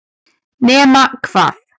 nema hvað